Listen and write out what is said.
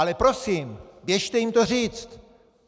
Ale prosím, běžte jim to říct!